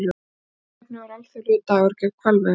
Tilefnið var alþjóðlegur dagur gegn hvalveiðum